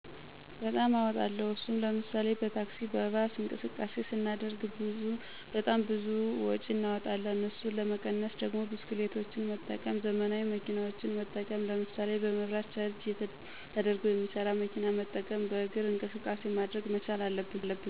በጣም አወጣለሁ። እሱም ለምሳሌ፦ በታክሲ፣ በባስ እንቅስቃሴ ሰናደርግ ብጣም ብዙ ወጪ እናወጣለን። እሱን ለመቀነስ ደግሞ ብስክሌቶችን መጠቀም፣ ዘመናዊ መኪናዎችን መጠቀም ለምሳሌ፣ በመብራት ቻርጅ ተደርጎ የሚሠራ መኪና መጠቀም፣ በእግር እንቅቃሴ ማድረግ መቻል አለብን።